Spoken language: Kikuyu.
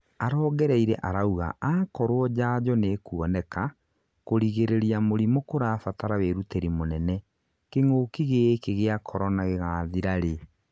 arongereire arauga akorwo njanjo nĩkuoneka, kũrigĩrĩria mũrimũ kũrabatara wĩrũtĩri mũnene," kĩng'ũki gĩki gĩa Korona gĩgathira rĩ?